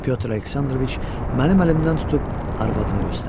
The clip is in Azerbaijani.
Pyotr Aleksandroviç mənim əlimdən tutub arvadını göstərdi.